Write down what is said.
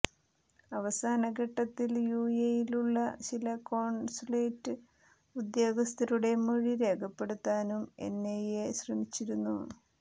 അവസാനഘട്ടത്തിൽ യുഎഇയിലുള്ള ചില കോണ്സുലേറ്റ് ഉദ്യോഗസ്ഥരുടെ മൊഴി രേഖപ്പെടുത്താനും എൻഐഎ ശ്രമിച്ചിരുന്നു